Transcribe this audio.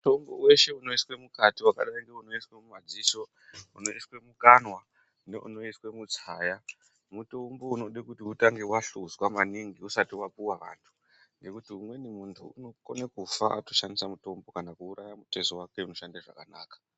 Mitombo weshe unoiswa mukati wakadai ngeunoiswa mumadziso, unoiswa mukanwa neunoiswa mutsaya mutombo unode kuti utange wahluzwa maningi usati wapuwa vanthu nekuti umweni munthu unokone kufa ashandisa mutombo kana kuuraya mutezo wake unoshanda zvakanaka.